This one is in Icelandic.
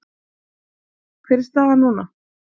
Ægir: Hver er staðan núna?